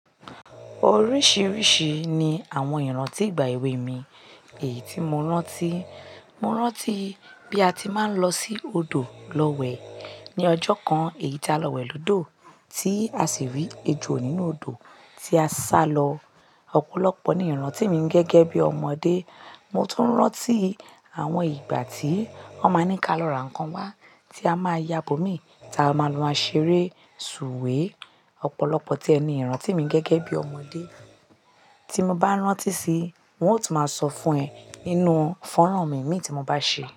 Oríṣìíríṣìí ni àwọn ìrántí ìgbà èwe mi èyí tí mo rántí. Mo rántí bí a ti máa ń lọ sí odò lọ wẹ̀ ní ọjọ́ kan, èyí tá lọ wẹ̀ lódò tí a sì rí ejò nínú odò tí a sá lọ. Ọ̀pọ̀lọpọ̀ ni ìrántí mi gẹ́gẹ́ bí ọmọdé. Mo tún rántí àwọn ìgbà tí wón máa ń ní ká lọ ra nǹkan wá tí a máa yá bó mi tí a máa lọ ma ṣeré, sùwé. Ọ̀pọ̀lọpọ̀ tíẹ ni ìrántí mi gẹ́gẹ́ bí ọmọdé. Tí mo bá rántí síi, n ò tì máa sọ fún ẹ nínú fọ́nrán mi imí tí mo bá ṣe.